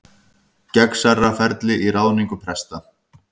Gegnsærra ferli í ráðningu presta